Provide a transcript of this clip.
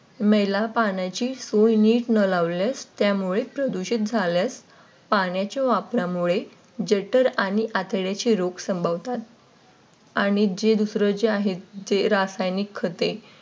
मैल पाण्याची सोय नीट न लावल्यास त्यामुळे प्रदूषण झाल्यास पाण्याच्या वापरामुळे जठर आणि आतड्याचे रोग संभवतात. आणि जे दुसरे जे आहेत ते रासायनिक खते